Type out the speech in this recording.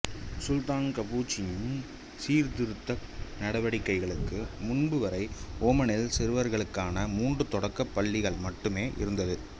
சுல்தான் கபூச்சின் சீர்திருத்தக் நடவடிக்கைகளுக்கு முன்புவரை ஓமானில் சிறுவர்களுக்கான மூன்று தொடக்கப் பள்ளிகள் மட்டுமே இருந்தது